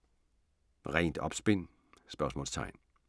Rent opspind?